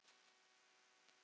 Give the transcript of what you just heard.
Liljuna og Í bljúgri bæn.